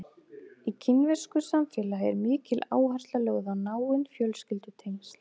Í kínversku samfélagi er mikil áhersla lögð á náin fjölskyldutengsl.